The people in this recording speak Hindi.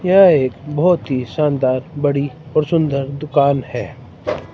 यह एक बहोत ही शानदार बड़ी और सुंदर दुकान है।